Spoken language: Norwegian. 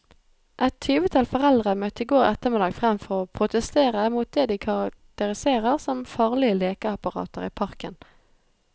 Et tyvetall foreldre møtte i går ettermiddag frem for å protestere mot det de karakteriserer som farlige lekeapparater i parken.